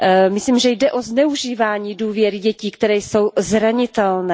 Myslím, že jde o zneužívání důvěry dětí, které jsou zranitelné.